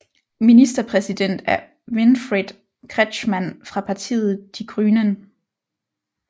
Ministerpræsident er Winfried Kretschmann fra partiet Die Grünen